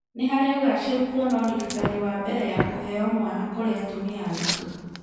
Nĩharĩ ũgachĩru kuona ũrigitani wa mbere ya kũheo mwana kũrĩ atumia aritũ